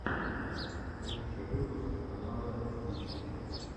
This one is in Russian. лучший выпуск канала стича